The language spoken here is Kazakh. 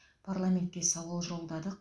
парламентке сауал жолдадық